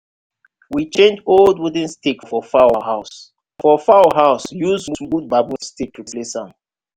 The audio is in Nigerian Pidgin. we change old wooden stick for fowl house for fowl house use smooth bamboo replace am.